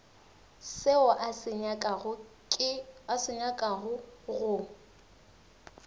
seo a se nyakago go